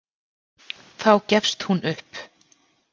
Þá gefst hún upp.